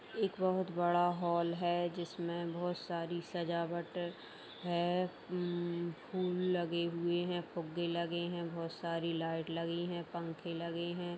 एक बहुत बड़ा हॉल है जिसमें बहुत सारी सजावट है हम्म फूल लगे हुए है फुग्गे लगे है बहुत सारी लाइट लगी है पंखे लगे है |